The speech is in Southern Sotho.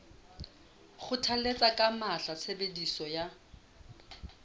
kgothalletsa ka matla tshebediso ya